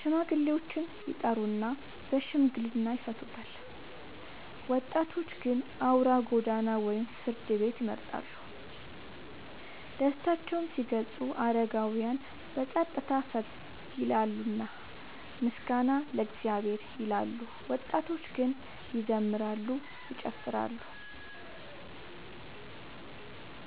ሽማግሌዎችን ይጠሩና በሽምግልና ይፈቱታል። ወጣቶች ግን አውራ ጎዳና ወይም ፍርድ ቤት ይመርጣሉ። ደስታቸውን ሲገልጹ አረጋውያን በጸጥታ ፈገግ ይላሉና “ምስጋና ለእግዚአብሔር” ይላሉ፤ ወጣቶች ግን ይዘምራሉ፤ ይጨፍራሉ።